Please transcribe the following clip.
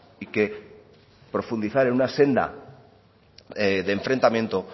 y que profundizar en una senda de enfrentamiento